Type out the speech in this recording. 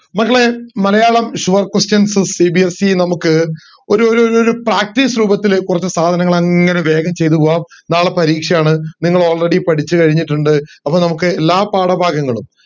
മക്കളെ Malayalam sure questionsCBSC നമുക്ക് ഒരു ഒരു ഒരു practice രൂപത്തിൽ കൊറച്ച് സാധനങ്ങൾ അങ്ങനെ വേഗം ചെയ്തു പോകാം നാളെ പരീക്ഷയാണ് നിങ്ങൾ already പഠിച്ച് കഴിഞ്ഞിട്ടിണ്ട് അപ്പൊ നമുക് എല്ലാ പാഠഭാഗങ്ങളും